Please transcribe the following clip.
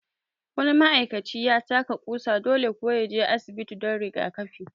Wani ma'aikaci ya taka ƙusa, dole kuwa ya je asibiti don rigakafi